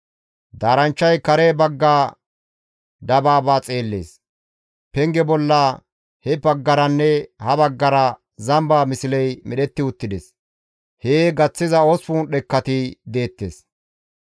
Daaranchchay kare bagga dabaaba xeellees. Penge bolla he baggaranne ha baggara zamba misley medhetti uttides. Hee gaththiza 8 dhekkati deettes.